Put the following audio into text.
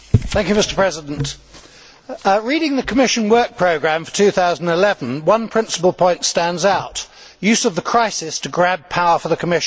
Mr President, reading the Commission work programme for 2011, one principal point stands out use of the crisis to grab power for the Commission.